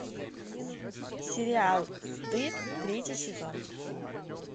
сериал стыд третий сезон